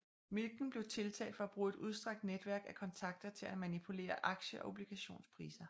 Milken blev tiltalt for at bruge et udstrakt netværk af kontakter til at manipulere aktie og obligationspriser